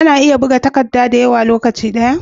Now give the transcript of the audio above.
Ana iya buga takadda dayawa a lokaci daya?